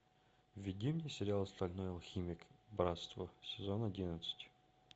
введи мне сериал стальной алхимик братство сезон одиннадцать